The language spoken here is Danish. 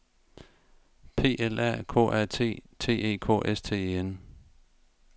P L A K A T T E K S T E N